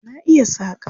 Na iya saƙa.